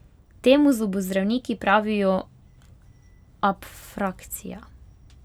Temu zobozdravniki pravijo abfrakcija.